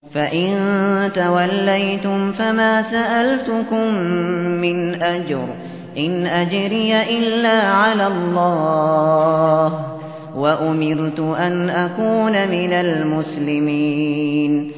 فَإِن تَوَلَّيْتُمْ فَمَا سَأَلْتُكُم مِّنْ أَجْرٍ ۖ إِنْ أَجْرِيَ إِلَّا عَلَى اللَّهِ ۖ وَأُمِرْتُ أَنْ أَكُونَ مِنَ الْمُسْلِمِينَ